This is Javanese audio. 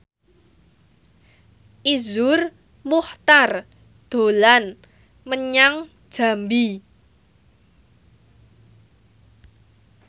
Iszur Muchtar dolan menyang Jambi